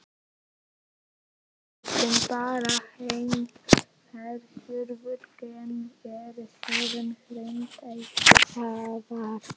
Plöntur sem bera hin ferjuðu gen eru síðan hreinræktaðar.